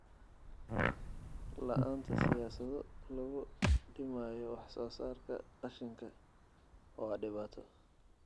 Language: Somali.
La'aanta siyaasado lagu dhimayo wax soo saarka qashinka waa dhibaato.